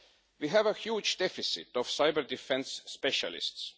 We have a huge deficit of cyber-defence specialists.